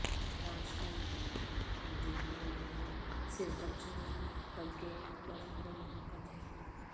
میٹھا اشنکٹبندیی پھل نہ صرف بچوں بلکہ بڑوں کو محبت ہے